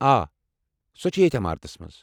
آ، سۄ چھےٚ ییٚتھ عمارتس منٛز۔